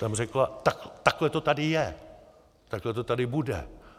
Tam řekla: Takhle to tady je, takhle to tady bude.